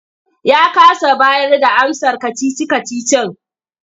Ya kasa bayarda amsar kacici-kacicin.